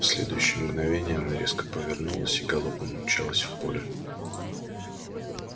в следующее мгновенье она резко повернулась и галопом умчалась в поле